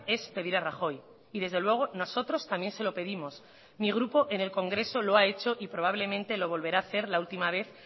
es pedir a rajoy y desde luego nosotros también se lo pedimos mi grupo en el congreso lo ha hecho y probablemente lo volverá a hacer la última vez